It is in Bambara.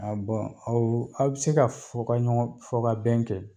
A bɔn aw bɛ se ka fɔ ka ɲɔgɔn fɔ ka bɛn kɛ.